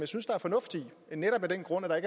synes der er fornuft i netop af den grund at der